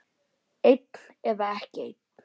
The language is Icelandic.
Einn eða ekki einn.